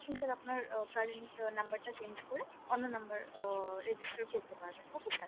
আপনি sir আপনার current number টা change করে অন্য নাম্বার অহ register করতে পারবেন okay sir